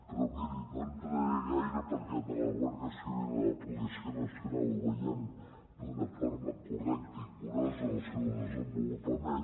però miri no hi entraré gaire perquè a la guàrdia civil i la policia nacio nal ho veiem d’una forma correcta i curosa en el seu desenvolupament